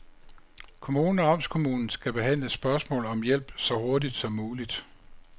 Kommunen og amtskommunen skal behandle spørgsmål om hjælp så hurtigt som muligt.